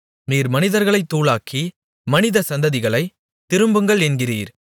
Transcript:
நீர் மனிதர்களைத் தூளாக்கி மனித சந்ததிகளை திரும்புங்கள் என்கிறீர்